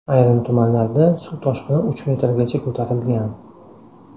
Ayrim tumanlarda suv toshqini uch metrgacha ko‘tarilgan.